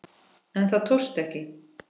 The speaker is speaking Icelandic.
En það tókst ekki.